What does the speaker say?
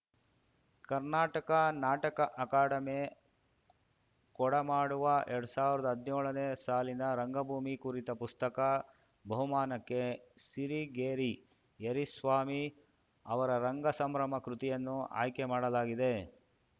Karnataka Nataka Academy ಕೊಡಮಾಡುವ ಎರಡ್ ಸಾವಿರ್ದಾ ಹದ್ನ್ಯೋಳನೇ ಸಾಲಿನ ರಂಗಭೂಮಿ ಕುರಿತ ಪುಸ್ತಕ ಬಹುಮಾನಕ್ಕೆ ಸಿರಿಗೇರಿ ಯರಿಸ್ವಾಮಿ ಅವರ ರಂಗ ಸಂಭ್ರಮ ಕೃತಿಯನ್ನು ಆಯ್ಕೆ ಮಾಡಲಾಗಿದೆ